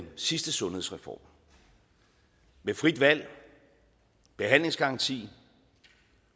sidste sundhedsreform med frit valg behandlingsgaranti og